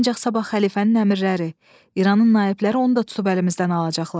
Ancaq sabah xəlifənin əmrləri, İranın naibləri onu da tutub əlimizdən alacaqlar.